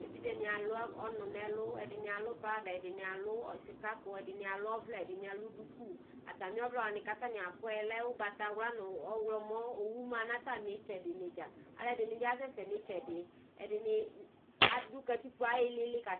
evidzeni alʋ ɔnʋ nɛlʋ ɛdini alʋ pada ɛdini alʋ sikakʋ ɛdini alʋ ɔvlɛ ɛdini alʋ dini atamiɔvlɛ wani ataniakɔɛ lɛ ʋgbatawla ɔwlɔmɔ owʋ ma natamitsɛdi dza alʋɛdini asɛsɛ nitsɛdi ɛdini adʋ katikpo ayilili kasɛ